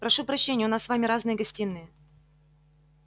прошу прощения у нас с вами разные гостиные